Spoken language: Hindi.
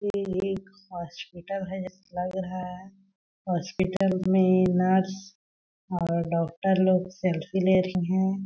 ये एक हॉस्पिटल है लग रहा है। हॉस्पिटल में नर्स और डॉक्टर लोग सेल्फी ले रही हैं ।